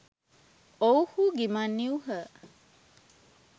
ඔවුහු ගිමන් නිවූහ